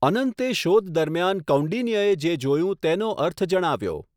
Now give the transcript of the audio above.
અનંતે શોધ દરમિયાન કૌંડિન્યએ જે જોયું તેનો અર્થ જણાવ્યો.